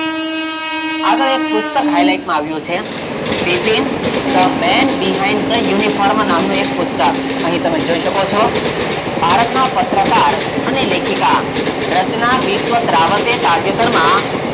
આપણે એક પુસ્તક highlight માં આવ્યું છે Bipin the men behind the uniforma નામનું એક પુસ્તક અહીં તમે જોઈ શકો છો? ભારતનાં પત્રકાર અને લેખિકાં રચના બિસ્વતરાંવત એ તાજેતરમાં,